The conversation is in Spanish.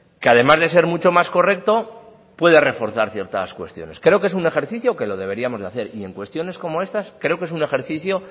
que además de ser mucho más correcto puede reforzar ciertas cuestiones creo que es un ejercicio que lo deberíamos de hacer y en cuestiones como estas creo que es un ejercicio